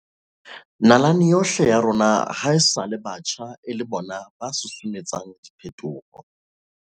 Nalaneng yohle ya rona hae-sale batjha e le bona ba susumetsang diphetoho.